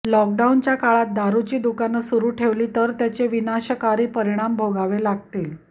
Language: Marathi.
लॉकडाऊनच्या काळात दारुची दुकानं सुरू ठेवली तर त्याचे विनाशकारी परिणाम भोगावे लागतील